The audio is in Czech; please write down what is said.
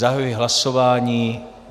Zahajuji hlasování.